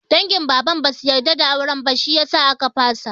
Dangin Baban basu yarda da auren ba, shi yasa aka fasa.